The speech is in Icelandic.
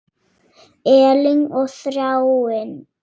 Elín og Þráinn.